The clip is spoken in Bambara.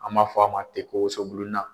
An m'a fɔ a ma ten ko wosobulu na.